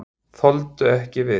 Þoldu ekki við.